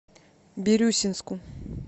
бирюсинску